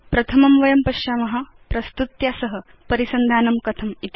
प्रथमं वयं पश्याम प्रस्तुत्या सह परिसन्धानं कथमिति